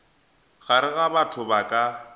gare ga batho ba ka